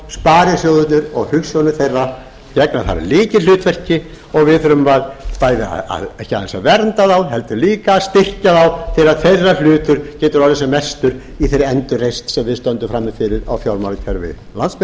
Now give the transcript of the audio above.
sparisjóðirnir og hugsjónir þeirra gegna þar lykilhlutverki og við þurfum ekki aðeins að vernda þá heldur líka að styrkja þá til að þeirra hlutur geti orðið sem mestur í þeirri endurreisn sem við stöndum frammi fyrir á fjármálakerfi